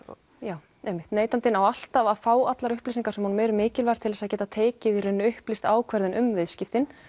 já einmitt neytandinn á alltaf að fá allar upplýsingar sem honum eru mikilvægar til að geta tekið í rauninni upplýsta ákvörðun um viðskiptin